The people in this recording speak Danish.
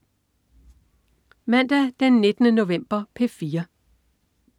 Mandag den 19. november - P4: